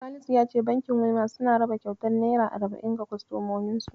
Salisu ya ce bankin Wema suna raba kyautar naira arba'in ga kostomominsu.